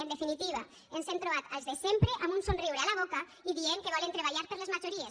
en definitiva ens hem trobat els de sempre amb un somriure a la boca i dient que volen treballar per les majories